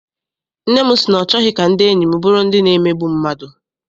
Nne m sị na ọ chọghị ka ndị enyi m bụrụ ndị na-emegbu mmadụ.